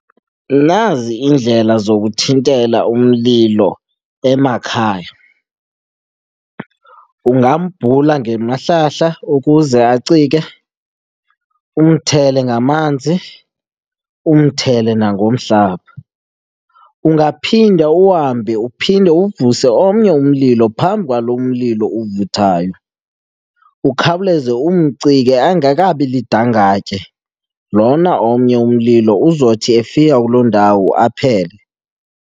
Nazi iindlela zokuthintela umlilo emakhaya. Ungambhula ngemahlahla ukuze acike, umthele ngamanzi umthele nangomhlaba. Ungaphinda uhambe uphinde uvuse omnye umlilo phambi kwalo mlilo uvuthayo ukhawuleze umcike angekabi lidangatye. Lona omnye umlilo uzothi efika kuloo ndawo aphele.